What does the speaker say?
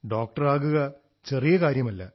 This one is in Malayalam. ഡോക്ടർ ആകുക ചെറിയ കാര്യമല്ല